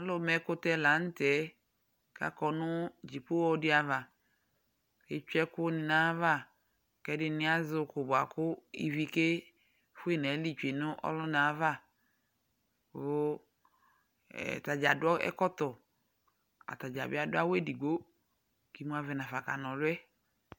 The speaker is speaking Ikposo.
Alʋmaɛkʋtɛ la nʋ tɛ kʋ akɔ nʋ dzipoɣɔ dɩ ava kʋ etsue ɛkʋnɩ nʋ ayava kʋ ɛdɩnɩ azɛ ʋkʋ bʋa kʋ ivi kefue nʋ ayili tsue nʋ ɔlʋna yɛ ava kʋ e ata dza adʋ ɛkɔtɔ, ata dza bɩ adʋ awʋ edigbo kʋ imuavɛ nafa kʋ akana ɔlʋ yɛ